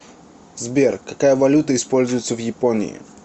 сбер какая валюта используется в японии